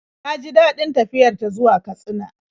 Ta ji daɗin tafiyar ta zuwa Katsina.